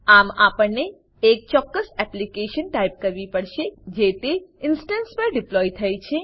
આમ આપણે એ ચોક્કસ એપ્લીકેશન ટાઈપ કરવી પડશે જે તે ઇનસ્ટંસ પર ડીપ્લોય થઇ છે